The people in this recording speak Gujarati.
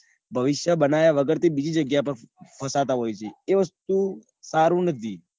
ભવિષ્બય બનાવ્યા વગર તે બીજી જગ્યા પર ફસાતા હોય છે. તે વસ્તુ સારું નથી.